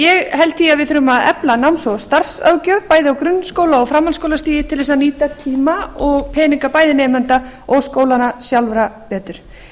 ég held því að við þurfum að efla náms og starfsráðgjöf bæði á grunnskóla og framhaldsskólastigi til þess að nýta tíma og peninga bæði nemenda og skólanna sjálfra betur